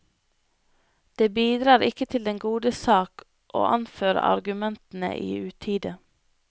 Det bidrar ikke til den gode sak å anføre argumentene i utide.